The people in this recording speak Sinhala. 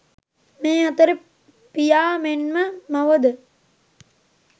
මේ අතර පියා මෙන්ම මවද